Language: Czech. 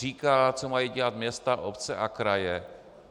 Říká, co mají dělat města, obce a kraje.